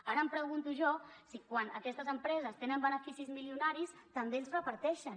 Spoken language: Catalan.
ara em pregunto jo si quan aquestes empreses tenen beneficis milionaris també els reparteixen